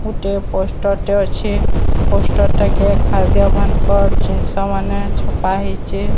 ଗୋଟେ ପୋଷ୍ଟର ଟେ ଅଛେ। ପୋଷ୍ଟର ଟେ କେ ଖାଦ୍ୟ ମାନକର ଜିନିଷ ମାନେ ଛପା ହେଇଚେ।